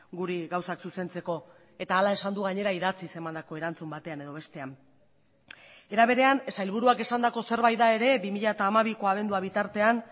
guri gauzak zuzentzeko eta hala esan du gainera idatziz emandako erantzun batean edo bestean era berean sailburuak esandako zerbait da ere bi mila hamabiko abendua bitartean